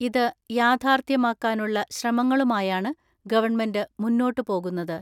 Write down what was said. ഇത് യാഥാർത്ഥ്യമാക്കാനുള്ള ശ്രമങ്ങളുമായാണ് ഗവൺമെന്റ് മുന്നോട്ട് പോകുന്നത്.